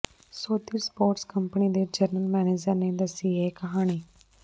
ਸੌਦੀ sports company ਦੇ general manager ਨੇ ਦੱਸੀ ਇਹ ਕਹਾਣੀ